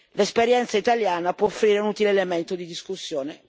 L'esperienza italiana può offrire un utile elemento di discussione.